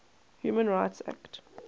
human rights act